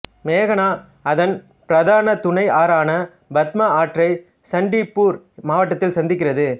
மேகனா அதன் பிரதான துணை ஆறான பத்மா ஆற்றை சண்ட்பூர் மாவட்டத்தில் சந்திக்கிறது